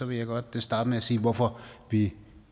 vil jeg godt starte med at sige hvorfor vi